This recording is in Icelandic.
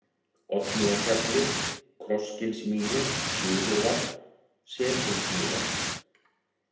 Oddnýjarhjalli, Krossgilsmýri, Suðurvarp, Selhólsmýrar